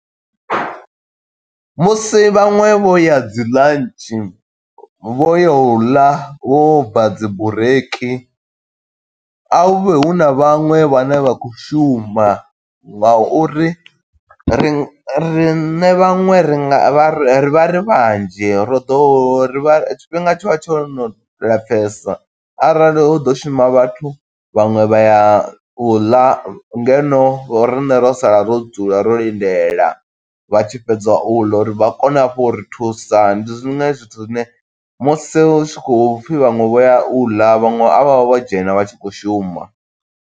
Musi vhaṅwe vho ya dzi ḽantshi, vho ya u ḽa vho bva dzi bureiki, a hu vhe hu na vhaṅwe vhane vha khou shuma, nga uri ri riṋe vhaṅwe ri nga vha ri ri vha ri vhanzhi ro ḓo ho ri vha tshifhinga tshi vha tsho no lapfesa arali hu ḓo shuma vhathu vhaṅwe vha ya u ḽa ngeno riṋe ro sala ro dzula ro lindela vha tshi fhedza u ḽa, uri vha kone hafhu uri thusa. Ndi zwone zwithu zwine musi hu tshi khou pfi vhaṅwe vho ya u ḽa vhaṅwe a vha vhe vho dzhena vha tshi khou shuma.